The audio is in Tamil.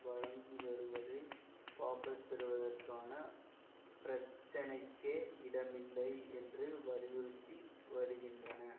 வழங்கிவருவதை வாபஸ்பெறுவதற்கான பிரச்சனைக்கே இடமில்லை என்று வலியுறுத்தி வருகின்றன